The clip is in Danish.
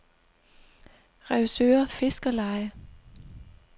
Revsøre Fiskerleje